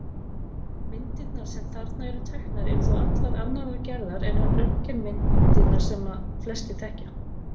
Myndirnar sem þarna eru teknar eru þó allt annarrar gerðar en röntgenmyndir sem flestir þekkja.